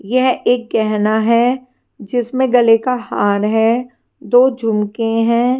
यह एक गहना है जिसमें गले का हार है दो झुमके हैं।